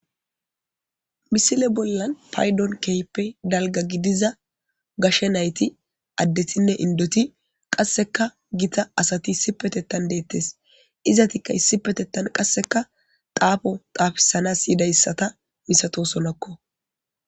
Misile bollan paydon keype dalga gidiza gashe nayti addetinne indoti qasseka gita asati issipetettan deettes izatikka issipetettan qasseka daafo xaafisana siyidayssata misato sonakko